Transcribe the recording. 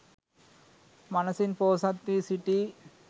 මනසින් පොහොසත් වී සිටී